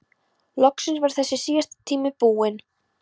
Loksins var þessi síðasti tími búinn.